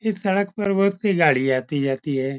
इस सड़क पर बहुत सी गाड़ी आती जाती है।